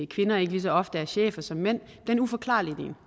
kvinder ikke lige så ofte er chefer som mænd den uforklarlige del